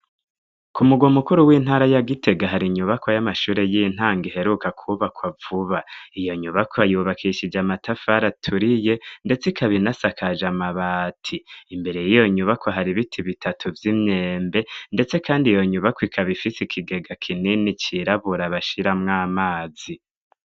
Ku mugwa mukuru w'intara ya Gitega, hari nyubakwa y'amashure y'intango iheruka kubakwa vuba. Iyo nyubako ayubakishije amatafari aturiye ndetse ikabinasakaje amabati. Imbere y'iyo nyubakwa har'ibiti bitatu vy'imyembe ndetse kandi iyo nyubakwa ikaba fise ikigega kinini c'irabura bashiramw'amazi.